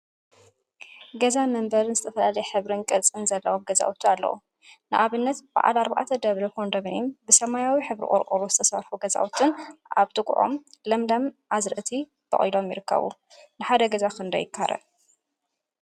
ገዛን መንበሪን ዝተፈላለየ ሕብሪን ቅርፂን ዘለዎም ገዛውቲ አለው፡፡ ንአብነት በዓል አርባዕተ ደብሪ ኮንደምኒየምን ብሰማያዊ ሕብሪ ቆርቆሮ ዝተሰርሑ ገዛውቲን አብ ጥቅኦም ሓምለዎት አዝርእቲ በቂሎም ይርከቡ፡፡ ንሓደ ገዛ ክንደይ ይካረ?